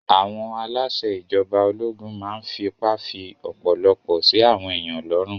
Àwọn aláṣẹ ìjọba ológun máa n fipá fí ọ̀pọ̀lọpọ̀ sí àwọn èèyàn lọ́rùn